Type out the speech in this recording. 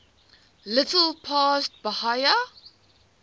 little past bahia